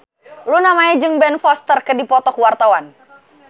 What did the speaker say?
Luna Maya jeung Ben Foster keur dipoto ku wartawan